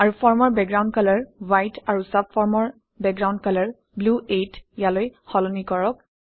আৰু ফৰ্মৰ background colour white আৰু চাবফৰ্মৰ বেকগ্ৰাউণ্ড কালাৰ ব্লু 8 অলৈ সলনি কৰক